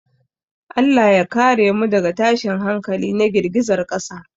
Allah ya kare mu daga tashin hankali na girgizar ƙasa.